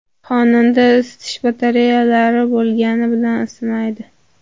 Xonadonda isitish batareyalari bo‘lgani bilan isimaydi.